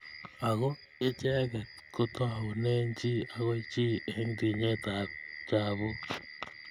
Ako icheket kotoune chi akoi chi eng tinyet ab chabuk.